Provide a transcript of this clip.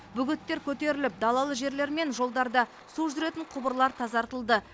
бөгеттер көтеріліп далалы жерлер мен жолдарда су жүретін құбырлар тазартылды